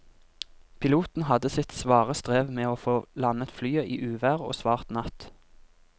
Piloten hadde sitt svare strev med å få landet flyet i uvær og svart natt.